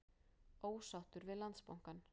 Ósáttur við Landsbankann